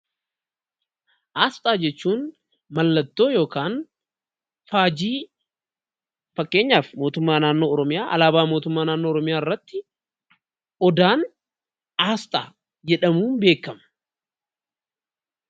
Aasxaa jechuun mallattoo yookaan faajii fakkeenyaaf mootummaaa naannoo Oromiyaa alaabaa mootummaa naannoo Oromiyaa irrattii odaan aasxaa jedhamuun beekama.